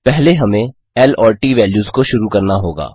पहले हमें ल और ट वेल्यूज़ को शुरू करना होगा